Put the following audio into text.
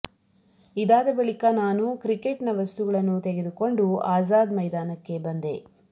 ಇದಾದ ಬಳಿಕ ನಾನು ಕ್ರಿಕೆಟ್ನ ವಸ್ತುಗಳನ್ನು ತೆಗೆದುಕೊಂಡು ಆಝಾದ್ ಮೈದಾನಕ್ಕೆ ಬಂದೆ